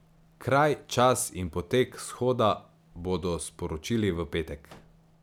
Kraj, čas in potek shoda bodo sporočili v petek.